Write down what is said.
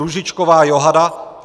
Růžičková Johana